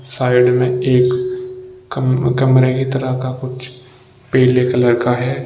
Side में एक कमरे की तरह का कुछ पीले कलर का है।